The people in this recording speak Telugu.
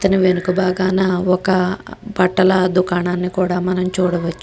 ఈథాని వెనక బాగానే ఒక బట్టల దుకాణాన్ని కూడా మనం చూడవచ్చు.